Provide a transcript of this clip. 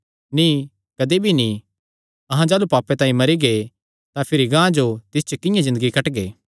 नीं कदी भी नीं अहां जाह़लू पाप तांई मरी गै तां भिरी गांह जो तिस च किंआं ज़िन्दगी कटगे